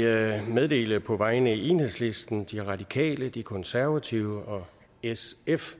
jeg meddele på vegne af enhedslisten de radikale de konservative og sf